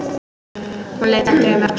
Hún leit aldrei um öxl.